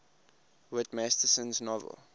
whit masterson's novel